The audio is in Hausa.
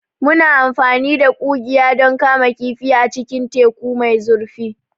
Muna amfani da ƙugiya don kama kifi a cikin teku mai zurfi.